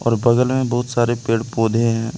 बगल मे बहुत सारे पेड़ पौधे हैं।